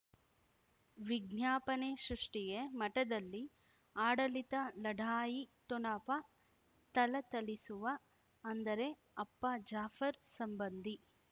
ವಿಜ್ಞಾಪನೆ ಸೃಷ್ಟಿಗೆ ಮಠದಲ್ಲಿ ಆಡಳಿತ ಲಢಾಯಿ ಠೊಣಪ ಥಳಥಳಿಸುವ ಅಂದರೆ ಅಪ್ಪ ಜಾಫರ್ ಸಂಬಂಧಿ